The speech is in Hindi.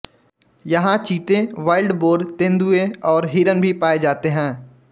यहां चीते वाइल्डबोर तेंदुए और हिरन भी पाए जाते हैं